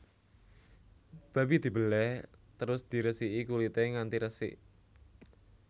Babi dibelèh terus diresiki kulité nganti resik